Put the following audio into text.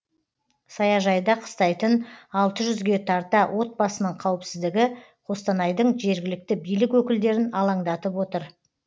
саяжайда қыстайтын алты жүзге тарта отбасының қауіпсіздігі қостанайдың жергілікті билік өкілдерін алаңдатып отыр